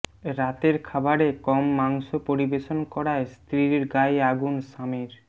রাতের খাবারে কম মাংস পরিবেশন করায় স্ত্রীর গায়ে আগুন স্বামীর